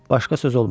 Başqa söz olmadı.